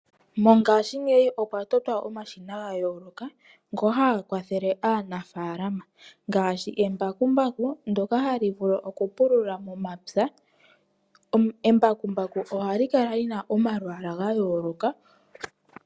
Mongashingeyi okwa totwa omashina gayoloka. Ngoka haga kwathele aanafalama, ngaashi embakumbaku ndyoka hali vulu oku pulula momapya. Embakumbaku ohali kala lina omalwaala gayoloka.